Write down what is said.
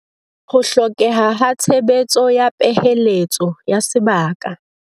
Ho hlokeha ha tshebetso ya peheletso ya sebaka